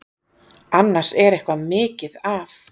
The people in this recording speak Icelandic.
Annars er eitthvað mikið að.